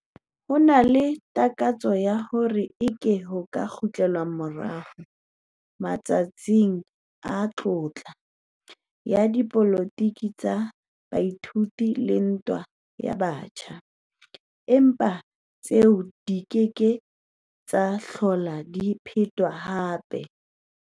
Ho na le takatso ya hore eke ho ka kgutlelwa morao 'matsatsing a tlotla' ya dipolotiki tsa baithuti le ntwa ya batjha, empa tseo di ke ke tsa hlola di phetwa hape.